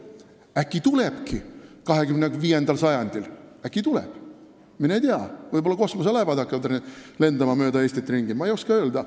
Äkki tulebki 25. sajandil, äkki tuleb, mine tea, võib-olla siis hakkavad kosmoselaevad mööda Eestit ringi lendama, ma ei oska öelda.